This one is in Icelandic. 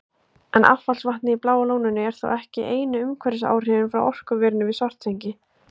En affallsvatnið í Bláa lóninu er þó ekki einu umhverfisáhrifin frá orkuverinu við Svartsengi.